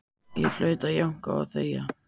Ég hlaut að jánka og þegja.